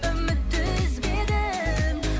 үмітті үзбедім